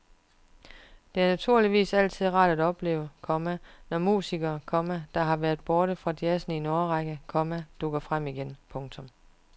Det er naturligvis altid rart at opleve, komma når musikere, komma der har været borte fra jazzen i en årrække, komma dukker frem igen. punktum